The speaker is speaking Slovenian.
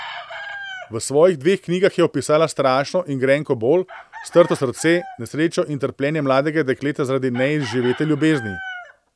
V svojih dveh knjigah je opisala strašno in grenko bol, strto srce, nesrečo in trpljenje mladega dekleta zaradi neizživete ljubezni.